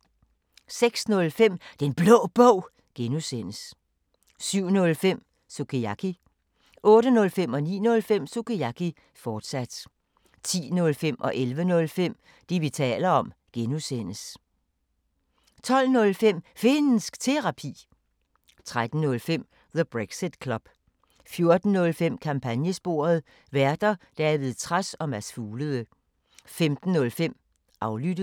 06:05: Den Blå Bog (G) 07:05: Sukiyaki 08:05: Sukiyaki, fortsat 09:05: Sukiyaki, fortsat 10:05: Det, vi taler om (G) 11:05: Det, vi taler om (G) 12:05: Finnsk Terapi 13:05: The Brexit Club 14:05: Kampagnesporet: Værter: David Trads og Mads Fuglede 15:05: Aflyttet